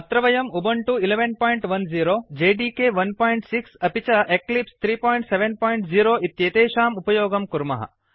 अत्र वयं Ubuntu 110 JDK 16 अपि च एक्लिप्स 370 इत्येतेषाम् उपयोगं कुर्मः